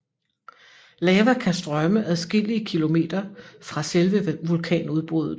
Lava kan strømme adskillige kilometer fra selve vulkanudbruddet